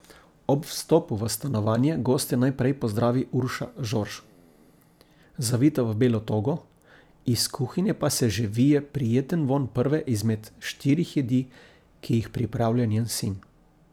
Ob vstopu v stanovanje goste najprej pozdravi Urša Žorž, zavita v belo togo, iz kuhinje pa se že vije prijeten vonj prve izmed štirih jedi, ki jih pripravlja njen sin.